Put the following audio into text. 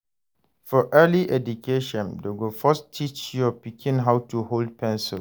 For early education, dem go first teach your pikin how to hold pencil.